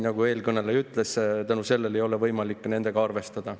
Nagu eelkõneleja ütles, seetõttu ei ole võimalik nendega arvestada.